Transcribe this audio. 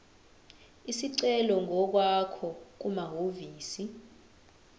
isicelo ngokwakho kumahhovisi